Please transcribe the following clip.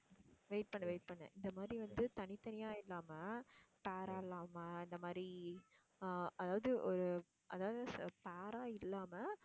wait பண்ணு, wait பண்ணு. இந்த மாதிரி வந்து தனித்தனியா இல்லாம pair ஆ இல்லாம இந்த மாதிரி அஹ் அதாவது ஒரு அதாவது ச~ pair ஆ இல்லாம